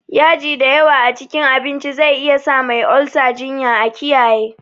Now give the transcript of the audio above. Yaji dayawa a cikin abinci zai iyasa Mai olsa jinya, a kiyaye.